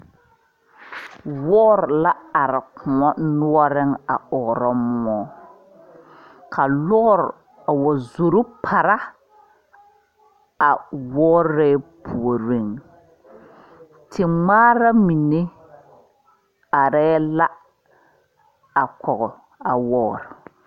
Woɔri la arẽ koun noɔring a ɔɔro mou ka loɔri a wa zoro para a loɔri puorin te ngmaara mene arẽ la a kɔgi a loɔri.